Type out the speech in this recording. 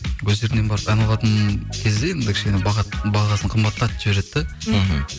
өздерінен барып ән алатын кезде енді кішкене бағасын қымбаттатып жібереді де мхм